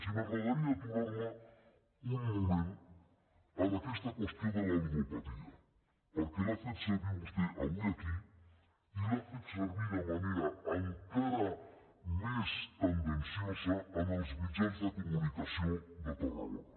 i m’agradaria aturar me un moment en aquesta qüestió de la ludopatia perquè l’ha fet servir vostè avui aquí i l’ha fet servir de manera encara més tendenciosa en els mitjans de comunicació de tarragona